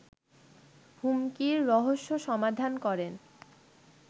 হুমকির রহস্য সমাধান করেন